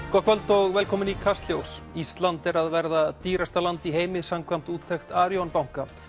kvöld og velkomin í Kastljós ísland er að verða dýrasta land í heimi samkvæmt úttekt Arion banka